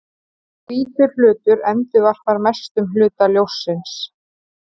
Hvítur hlutur endurvarpar mestum hluta ljóssins.